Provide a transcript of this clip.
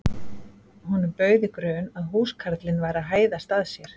Honum bauð í grun að húskarlinn væri að hæðast að sér.